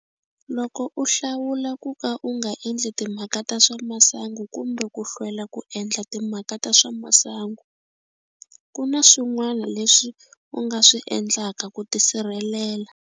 Loko u hlawula ku ka u nga endli timhaka ta swa masangu kumbe ku hlwela ku endla timhaka ta swa masangu, ku na swin'wana leswi u nga swi endlaka ku tisirhelela.